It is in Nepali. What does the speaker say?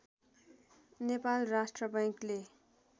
नेपाल राष्ट्र बैंकले